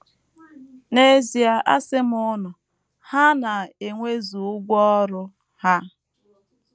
N’ezie asị m unu, Ha na - enwezu ụgwọ ọrụ ha. ”